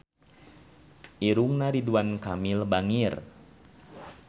Irungna Ridwan Kamil bangir